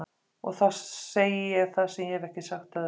Og þá segi ég það sem ég hef ekki sagt öðrum.